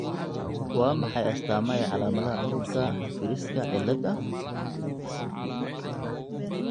Waa maxay astamaha iyo calaamadaha cudurka Friska cilaada?